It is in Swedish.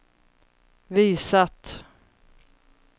visat